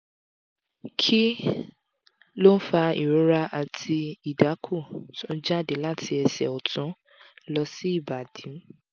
kí ló ń fa ìrora àti idaku tó ń jáde láti ẹsẹ̀ ọ̀tún lọ sí ibadì?